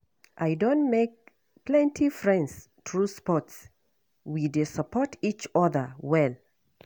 I don make plenty friends through sports; we dey support each other well.